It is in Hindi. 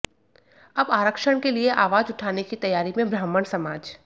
अब आरक्षण के लिए आवाज उठाने की तैयारी में ब्राह्मण समाज